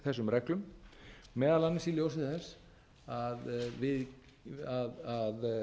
þessum reglum meðal annars í ljósi þess að